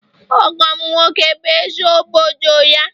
Ọgọ'm nwoke bụ eze obodo ya